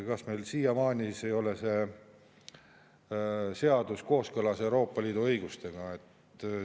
Kas meil siiamaani ei ole see seadus kooskõlas Euroopa Liidu õigusega?